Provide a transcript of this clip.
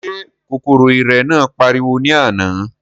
Ṣé kòkòrò ìrẹ̀ náà pariwo ní àná?